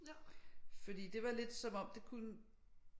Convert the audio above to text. Fordi det var lidt som om det kunne